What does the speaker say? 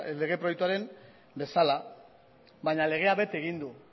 lege proiektua bezala baina legea bete egin du